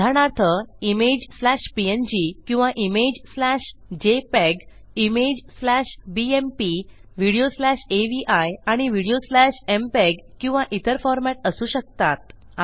उदाहरणार्थ image slash PNG किंवा image slash JPEG image slash BMP video slash AVI आणि video slash MPEG किंवा इतर फॉरमॅट असू शकतात